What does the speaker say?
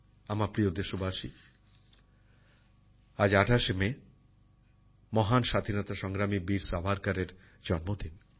আমার প্রিয় দেশবাসী আজ ২৮ শে মে মহান স্বাধীনতা সংগ্রামী বীর সাভারকারের জন্মদিন